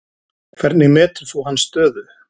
Hvernig metur þú hans stöðu?